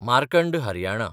Markand Haryana